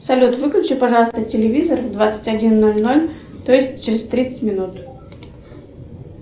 салют выключи пожалуйста телевизор в двадцать один ноль ноль то есть через тридцать минут